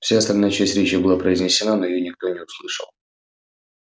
вся остальная часть речи была произнесена но её никто не услышал